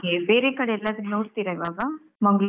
Okay . ಬೇರೆ ಕಡೆ ಎಲ್ಲಾದ್ರು ನೋಡ್ತೀರಾ ಈವಾಗ ಮಂಗ್ಳೂರು?